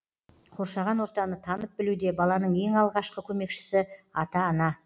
қоршаған ортаны танып білуде баланың ең алғашқы көмекшісі ата ана